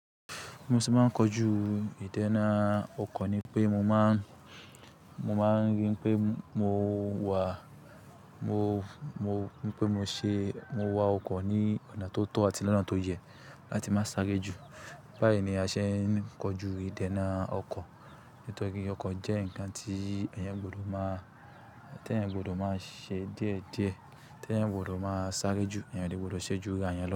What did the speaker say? Mo sì máa ń kojú ìdènà ọkọ̀ ni pé mo máa, mo máa ń rí pé mo wà, mo, mo, pé mo ṣe, mo wa ọkọ̀ ní ọ̀nà tó tọ́ àti lọ́nà tó yẹ láti má sáré jù. Báyìí ni a ṣe ń kojú ìdènà ọkọ̀. Nítorí pé ọkọ̀ jẹ́ ǹkan tí ẹ̀yàn gbodo máa, tí ẹ̀yàn gbodo máa ṣe díẹ̀ díẹ̀, tí ẹ̀yàn o gbodo máa sáré jù, eẹ̀yàn ò dè gbodo ṣẹ́jú ara eeyan lo.